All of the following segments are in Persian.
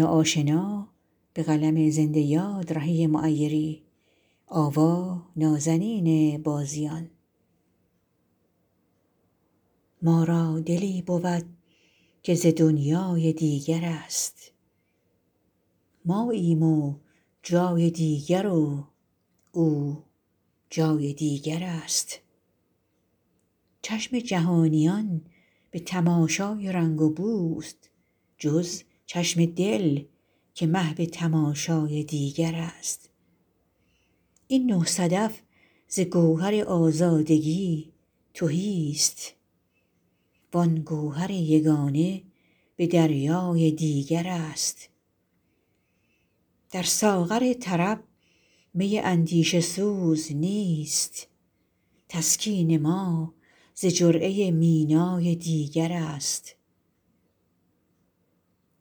ما را دلی بود که ز دنیای دیگر است ماییم جای دیگر و او جای دیگر است چشم جهانیان به تماشای رنگ و بوست جز چشم دل که محو تماشای دیگر است این نه صدف ز گوهر آزادگی تهی است وآن گوهر یگانه به دریای دیگر است در ساغر طرب می اندیشه سوز نیست تسکین ما ز جرعه مینای دیگر است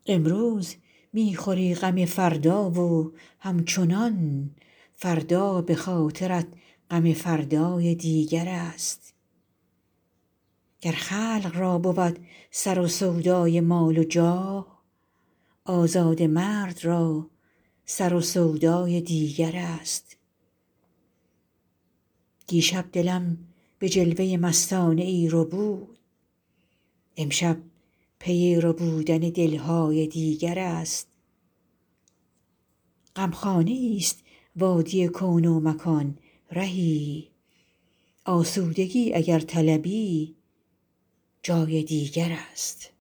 امروز می خوری غم فردا و همچنان فردا به خاطرت غم فردای دیگر است گر خلق را بود سر سودای مال و جاه آزاده مرد را سر و سودای دیگر است دیشب دلم به جلوه مستانه ای ربود امشب پی ربودن دل های دیگر است غمخانه ای ست وادی کون و مکان رهی آسودگی اگر طلبی جای دیگر است